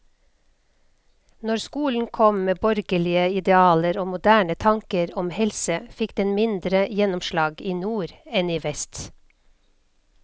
Når skolen kom med borgerlige idealer og moderne tanker om helse, fikk den mindre gjennomslag i nord enn i vest.